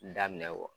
Daminɛ